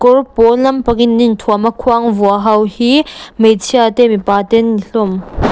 kawr pawl lampangin an inthuam a khuang vua ho hi hmeichhia te mipa te an ni hlawm.